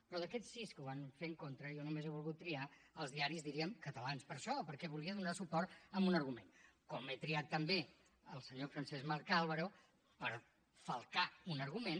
però d’aquests sis que ho van fer en contra jo només he volgut triar els diaris diríem catalans per això perquè hi volia donar suport amb un argument com he triat també el senyor francesc marc álvaro per falcar un argument